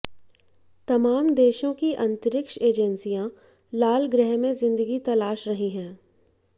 तमाम देशों की अंतरिक्ष एजेंसियां लाल ग्रह में ज़िंदगी तलाश रही हैं